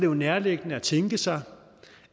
jo nærliggende at tænke sig